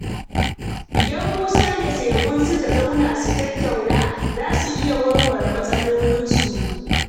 Idan Musa da Segun suka zauna su tattauna, za su iya warware matsalarsu.